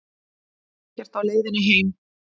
Ekkert á leiðinni heim